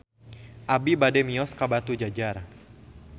Abi bade mios ka Batujajar